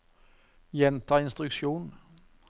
gjenta instruksjon